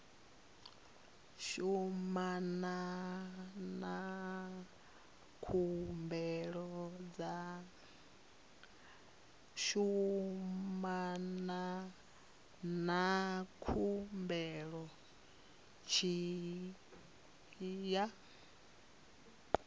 shumana na khumbelo tshi ya